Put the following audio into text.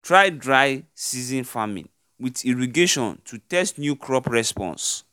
try dry-season farming with irrigationto tst new crop responses